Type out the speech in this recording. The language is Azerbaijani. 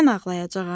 Mən ağlayacağam?